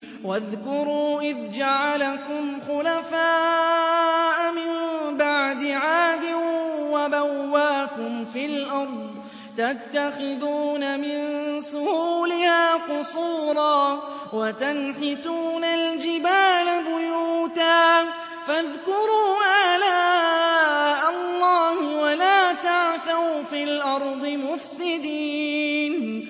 وَاذْكُرُوا إِذْ جَعَلَكُمْ خُلَفَاءَ مِن بَعْدِ عَادٍ وَبَوَّأَكُمْ فِي الْأَرْضِ تَتَّخِذُونَ مِن سُهُولِهَا قُصُورًا وَتَنْحِتُونَ الْجِبَالَ بُيُوتًا ۖ فَاذْكُرُوا آلَاءَ اللَّهِ وَلَا تَعْثَوْا فِي الْأَرْضِ مُفْسِدِينَ